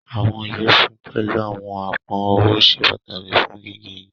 Àwọn iyẹfun pẹ̀lú àwọn apọn ọwọ sẹ pataki fún gígẹ̀ igi.